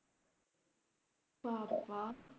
বাবাঃ